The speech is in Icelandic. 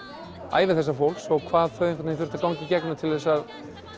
ævi þessa fólks og hvað þau þurftu að ganga í gegnum til að